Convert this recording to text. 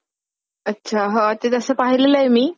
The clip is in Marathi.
अच्छा. हा ते तसं पाहिलेलं आहे मी.